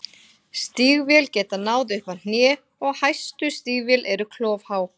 Stígvél geta náð upp að hné og hæstu stígvél eru klofhá.